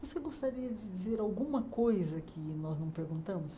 Você gostaria de dizer alguma coisa que nós não perguntamos?